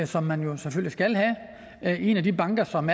som man man selvfølgelig skal have i en af de banker som